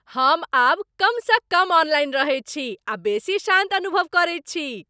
हम अब कमसँ कम ऑनलाइन रहैत छी आ बेसी शान्त अनुभव करैत छी।